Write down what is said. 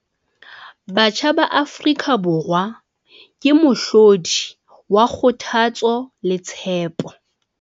Batjha ba Afrika Borwa ke mohlodi wa kgothatso le tshepo.